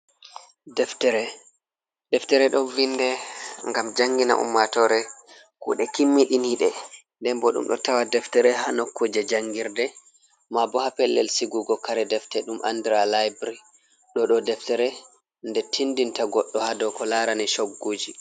Deftere. Deftere ɗo vinde ngam jangina ummatore kuɗe kimmiɗinide, nden bo ɗum ɗo tawa deftere haa nukkuje jangirde, ma bo haa pellel sigugo kare deftere ɗum andira laybri. Ɗo ɗo deftere nde tindinta goɗɗo haa do ko laarani chogguuji.